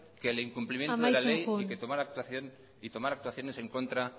que el incumplimiento de la ley amaitzen joan y tomar actuaciones en contra